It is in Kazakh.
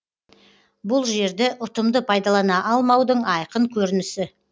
бұл жерді ұтымды пайдалана алмаудың айқын көрінісі